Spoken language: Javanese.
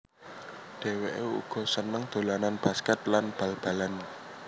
Dhewéké uga seneng dolanan basket lan bal balan